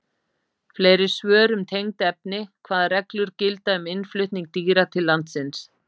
Fleiri svör um tengd efni: Hvaða reglur gilda um innflutning dýra til landsins?